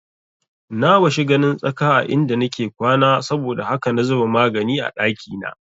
Na washi ganin tsaka a inda nake kwana saboda haka na zuba magani a ɗakina